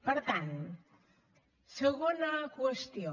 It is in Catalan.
per tant segona qüestió